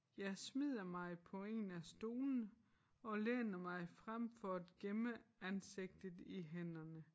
Jeg smider mig på 1 af stolene og læner mig frem for at gemme ansigtet i hænderne